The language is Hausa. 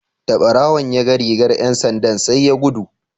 Da barawon ya ga rigar ’yan sandan sai ya gudu.